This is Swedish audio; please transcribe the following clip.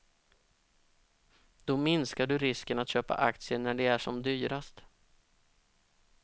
Då minskar du risken att köpa aktier när de är som dyrast.